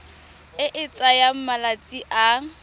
e e tsayang malatsi a